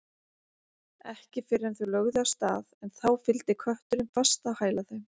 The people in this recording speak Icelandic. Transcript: Ekki fyrr en þau lögðu af stað en þá fylgdi kötturinn fast á hæla þeim.